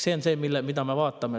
See on see, mida me vaatame.